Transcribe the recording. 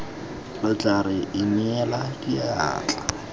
lo tla re inela diatla